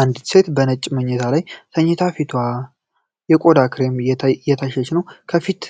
አንዲት ሴት በነጭ መኝታ ላይ ተኝታ የፊት ቆዳዋ በክሬም እየተታሸ ነው። የፊት